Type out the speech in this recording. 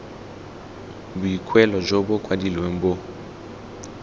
boikuelo jo bo kwadilweng bo